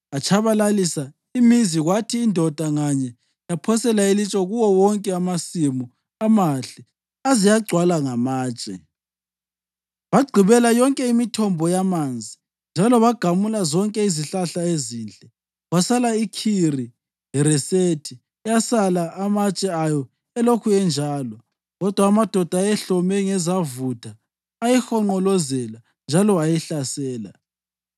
Atshabalalisa imizi kwathi indoda nganye yaphosela ilitshe kuwo wonke amasimu amahle aze agcwala ngamatshe. Bagqibela yonke imithombo yamanzi njalo bagamula zonke izihlahla ezinhle. Kwasala iKhiri-Haresethi eyasala amatshe ayo elokhu enjalo, kodwa amadoda ayehlome ngezavutha ayihonqolozela njalo ayihlasela.